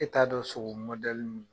E t'a dɔn sogo min